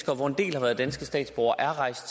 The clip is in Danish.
hvoraf en del er danske statsborgere er rejst